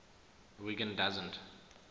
wiggin doesn t